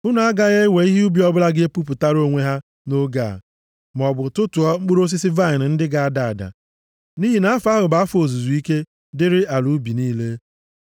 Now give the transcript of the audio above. Unu agaghị ewe ihe ubi ọbụla ga-epupụtara onwe ha nʼoge a, maọbụ tụtụọ mkpụrụ osisi vaịnị ndị ga-ada ada. Nʼihi na afọ ahụ bụ afọ ozuzu ike dịrị ala ubi niile.